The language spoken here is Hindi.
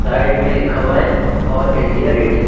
साइड में लिखा हुआ है ऑल इंडिया रेडियो ।